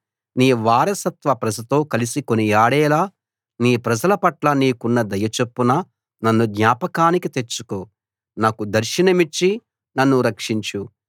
నీ వారసత్వ ప్రజతో కలిసి కొనియాడేలా నీ ప్రజల పట్ల నీకున్న దయ చొప్పున నన్ను జ్ఞాపకానికి తెచ్చుకో నాకు దర్శనమిచ్చి నన్ను రక్షించు